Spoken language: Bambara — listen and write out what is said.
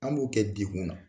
An b'o kɛ degun na